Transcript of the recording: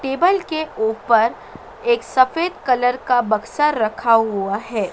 Table के ऊपर एक सफेद कलर का बक्सा रखा हुआ है।